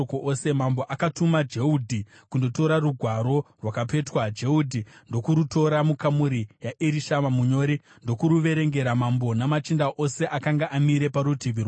Mambo akatuma Jehudhi kundotora rugwaro rwakapetwa, Jehudhi ndokurutora mukamuri yaErishama munyori ndokuverengera mambo namachinda ose akanga amire parutivi rwake.